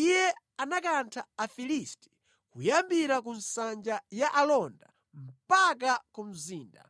Iye anakantha Afilisti kuyambira ku nsanja ya alonda mpaka ku mzinda